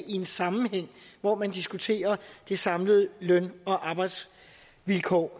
i en sammenhæng hvor man diskuterer de samlede løn og arbejdsvilkår